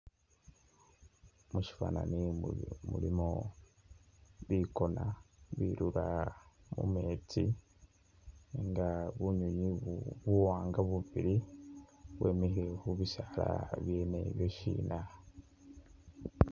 Mushifanani umu mulimo bikoona birura mumeetsi nga bunywinywi ubu buwaanga bubili bwemikhile khubisaala byene bishina